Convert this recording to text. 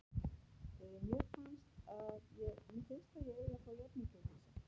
Mér finnst að ég eigi að fá jafn mikið og Dísa.